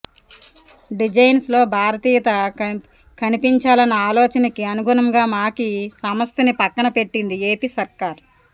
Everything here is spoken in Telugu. డిజైన్స్ లో భారతీయత కనిపించాలన్న ఆలోచనకి అనుగుణంగా మాకి సంస్థని పక్కనపెట్టింది ఏపీ సర్కార్